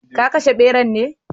Ka kashe beran ne?